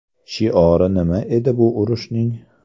Shiori nima edi bu urushning?